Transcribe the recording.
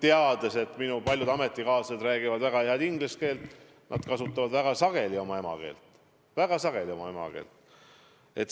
Ma tean, et minu paljud ametikaaslased räägivad väga head inglise keelt, aga nad kasutavad väga sageli oma emakeelt.